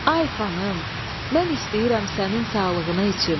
Ay xanım, mən istəyirəm sənin sağlıqına içim.